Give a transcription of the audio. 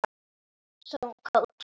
sagði hún kát.